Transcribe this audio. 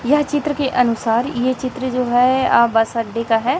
यह चित्र के अनुसार ये चित्र जो है बस अड्डे का है।